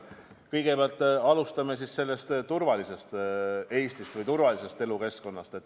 Kõigepealt alustan turvalisest Eestist või turvalisest elukeskkonnast.